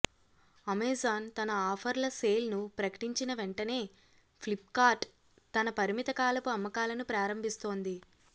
Amazon తన ఆఫర్లసేల్ను ప్రకటించిన వెంటనే ఫ్లిప్కార్ట్ తన పరిమితకాలపు అమ్మకాలను ప్రారంభిస్తోంది